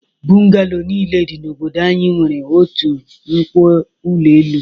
Bụngalo niile dị n'obodo anyị nwere otu nkwo ụlọ elu.